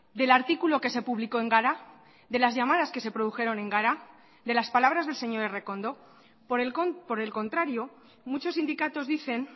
del artículo que se publicó en gara de las llamadas que se produjeron en gara de las palabras del señor errekondo por el contrario muchos sindicatos dicen